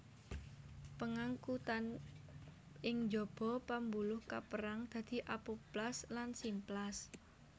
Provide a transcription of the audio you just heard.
Pangangkutan ing jaba pambuluh kaperang dadi apoplas lan simplas